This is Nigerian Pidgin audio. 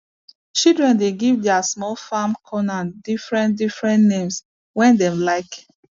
children dey give their small farm corner differentdifferent names wey dem like